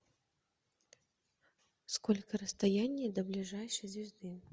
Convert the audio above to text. сколько расстояние до ближайшей звезды